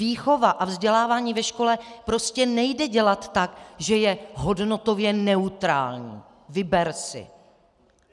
Výchova a vzdělávání ve škole prostě nejde dělat tak, že je hodnotově neutrální: Vyber si.